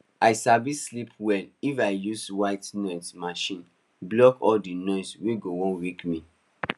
i sabi sleep well if i use white noise machine block all the noise we go wan wake me